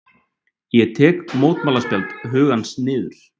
Ég tek mótmælaspjald hugans niður.